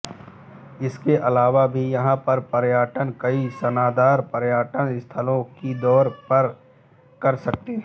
इसके अलावा भी यहाँ पर पर्यटक कई शानदार पर्यटन स्थलों की सैर कर सकते हैं